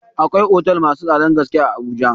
Akwai otel masu tsadan gaske a Abuja.